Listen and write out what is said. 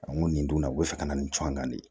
n ko nin dun na u bɛ fɛ ka na nin co an kan de